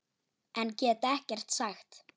En get ekkert sagt.